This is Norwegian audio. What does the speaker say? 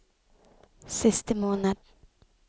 siste måned